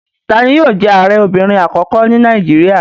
Tani yóò jẹ́ Ààrẹ obìnrin àkọ́kọ́ ní Nàìjíríà?